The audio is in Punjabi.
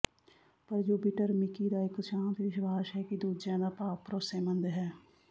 ਪਰ ਜੁਪੀਟਰ ਮਿਕੀ ਦਾ ਇੱਕ ਸ਼ਾਂਤ ਵਿਸ਼ਵਾਸ਼ ਹੈ ਕਿ ਦੂਜਿਆਂ ਦਾ ਭਾਵ ਭਰੋਸੇਮੰਦ ਹੈ